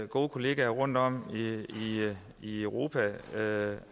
gode kolleger rundtom i europa